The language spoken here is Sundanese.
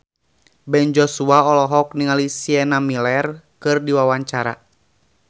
Ben Joshua olohok ningali Sienna Miller keur diwawancara